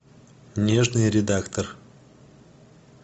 нежный редактор